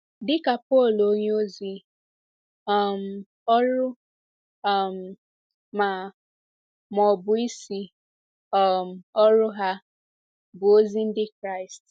Dị ka Pọl onyeozi, um ọrụ um ma ma ọ bụ isi um ọrụ ha, bụ ozi ndị Kraịst.